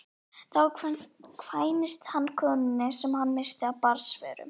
Þá kvæntist hann konunni sem hann missti af barnsförum.